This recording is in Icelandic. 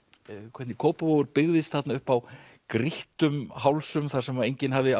hvernig Kópavogur byggðist þarna upp á grýttum hálsum þar sem enginn hafði